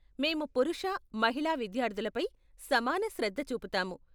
మేము పురుష, మహిళా విద్యార్థులపై సమాన శ్రద్ధ చూపుతాము.